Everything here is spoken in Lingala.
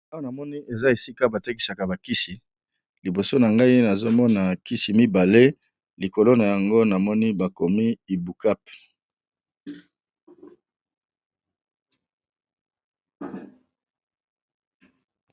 Awa namoni eza esika batekisaka ba kisi liboso na ngai namoni ba kisi mibale likolo nango bakomi na monoko ya lopoto IBUCAP.